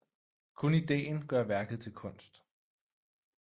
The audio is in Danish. Kun ideen gør værket til kunst